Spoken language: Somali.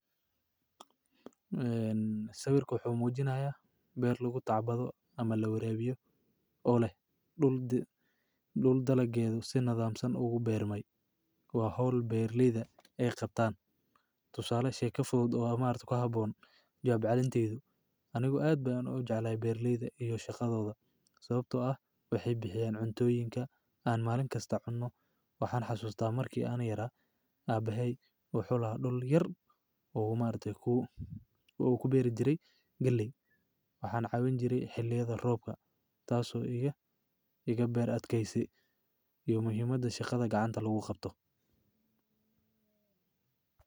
Sawirka wuxu mjinaya beeer lagu tacbado ama lawarabiyo ,xaan ugu yaraa in aan la xirfado sababtoo ah shakada gacanta. Sababtoo ah shakada gacanta waa shakada gacanta la xirfado oo la sii wadaaga. Wuxuuna dhinaca kale in aan helayso shakada gacanta, waxaad aragto in shakada gacanta laga yaabo inuu u qaban doono shakada gacanta. Shaka gacanta waa shakada gacanta la xirfado oo la sii wadaaga.